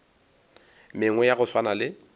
mengwe ya go swana le